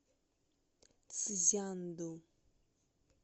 цзянду